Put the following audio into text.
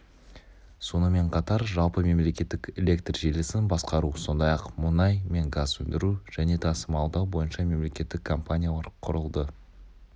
сонымен қатар жалпымемлекеттік электр желісін басқару сондай-ақ мұнай мен газ өндіру және тасымалдау бойынша мемлекеттік компаниялар құрылды